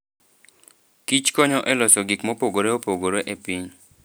Kich konyo e loso gik mopogore opogore e piny.